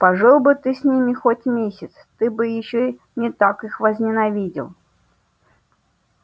пожил бы ты с ними хоть месяц ты бы ещё не так их возненавидел